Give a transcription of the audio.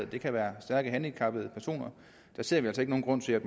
det kan være stærkt handicappede personer der ser vi altså ikke nogen grund til at